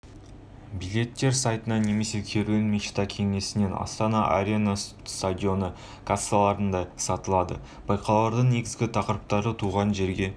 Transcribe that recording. билеттер сайтынан немесе керуен мечта кеңсесінен астана арена стадионы кассаларында сатылады байқаудың негізгі тақырыптары туған жерге